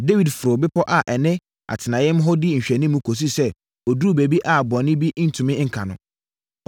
Dawid foroo bepɔ a ɛne atenaeɛm hɔ di nhwɛanimu kɔsii sɛ ɔduruu baabi a bɔne bi ntumi nka no.